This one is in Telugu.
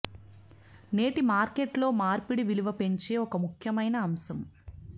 నేటి మార్కెట్ లో మార్పిడి విలువ పెంచే ఒక ముఖ్యమైన అంశం